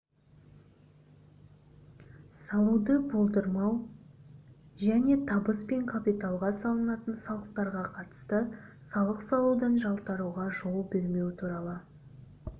салуды болдырмау және табыс пен капиталға салынатын салықтарға қатысты салық салудан жалтаруға жол бермеу туралы